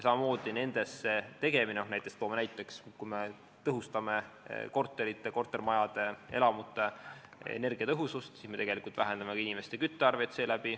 Näiteks, kui me tõhustame kortermajade, üldse elamute energiatõhusust, siis me tegelikult vähendame ka inimeste küttearveid.